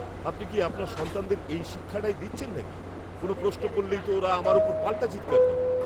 আপনি কি আপনার সন্তানদের এই শিক্ষাটাই দিচ্ছেন নাকি? কোনও প্রশ্ন করলেই তো ওরা আমার উপর পাল্টা চিৎকার করে।